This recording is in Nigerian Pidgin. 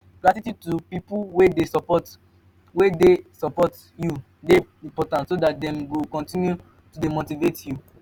gratitude to pipo wey de support wey de support you de important so that dem go continue to de motivate you